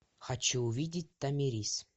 хочу увидеть томирис